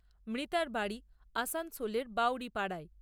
মৃতার বাড়ি আসানসোলের বাঊড়ি পাড়ায়।